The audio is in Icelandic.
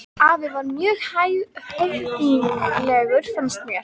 Afi var mjög höfðinglegur fannst mér.